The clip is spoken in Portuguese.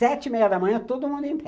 Sete e meia da manhã, todo mundo em pé.